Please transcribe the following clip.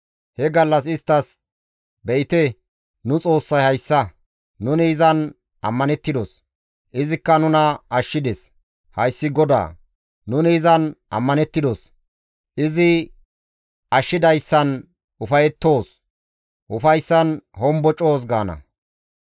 He gallas isttas, «Be7ite nu Xoossay hayssa; nuni izan ammanettidos; izikka nuna ashshides; Hayssi GODAA; nuni izan ammanettidos; izi ashshidayssan ufayettoos; ufayssan hombocoos» gaana.